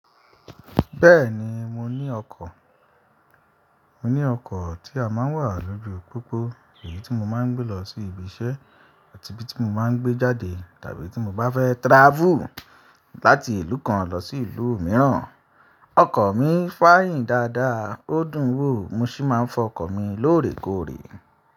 Bẹ́ẹ̀ni mo ní ọkọ̀, mo ní ọkọ̀ tí a máa ń wà lójú pópó, èyí tí mo máa ń gbé lọ sí ibi iṣẹ́ àti ibi tí mo máa ń gbé jáde tàbí tí mo bá fẹ́ travel láti ìlú kan lọ sí ìlú mìíràn. Ọkọ̀ mi fáyìn dáadáa, ó dùn wò mo sì máa ń fọ ọkọ̀ mi lóòrèkóòrè.